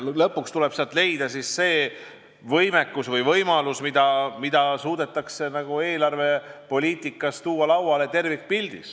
Lõpuks tuleb leida see võimalus, mida suudetakse terviklikus eelarvepoliitikas lauale tuua.